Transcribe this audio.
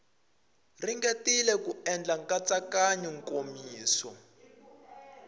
ringetile ku endla nkatsakanyo nkomiso